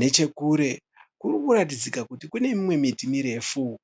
Nechekure kuri kuratidzika kuti kune miti mirefu.